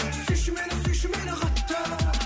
сүйші мені сүйші мені қатты